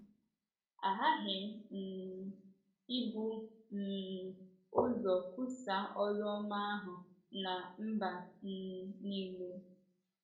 Ee, “ a ghaghị um ibu um ụzọ kwusaa oru ọma ahụ ná mba um nile. ”